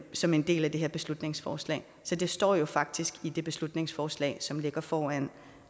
som en del af det her beslutningsforslag så det står jo faktisk i det beslutningsforslag som ligger foran